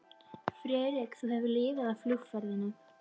Friðrik, þú hefur lifað af flugferðina